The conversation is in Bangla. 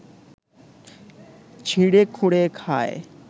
ছিঁড়েখুঁড়ে খায়